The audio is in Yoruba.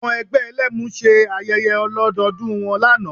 Àwọn ẹgbẹ́ Ẹlẹ́mu ṣe ayẹyẹ ọlọ́dọọdún wọn lánàá